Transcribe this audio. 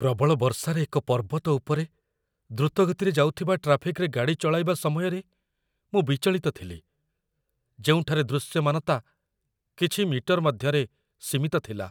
ପ୍ରବଳ ବର୍ଷାରେ ଏକ ପର୍ବତ ଉପରେ ଦ୍ରୁତ ଗତିରେ ଯାଉଥିବା ଟ୍ରାଫିକ୍‌ରେ ଗାଡ଼ି ଚଳାଇବା ସମୟରେ ମୁଁ ବିଚଳିତ ଥିଲି, ଯେଉଁଠାରେ ଦୃଶ୍ୟମାନତା କିଛି ମିଟର ମଧ୍ୟରେ ସୀମିତ ଥିଲା